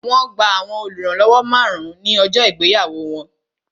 Wọn gba àwọn oluranlowo márùn-ún ní ọjọ́ ìgbéyàwó wọn